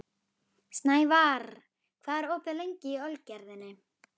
Snævarr, hvað er opið lengi í Ölgerðinni?